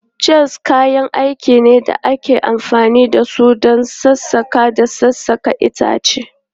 Chisels kayan aiki ne da ake amfani da su don sassaƙa da sassaƙa itace.